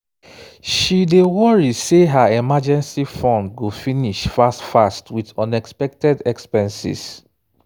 she dey worry say her emergency fund go finish fast fast with unexpected expenses."